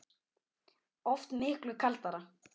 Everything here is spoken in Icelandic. Oft miklu kaldara